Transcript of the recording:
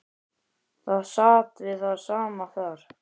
Það sat við það sama þar.